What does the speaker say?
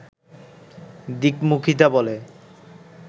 দিকমুখিতা বলে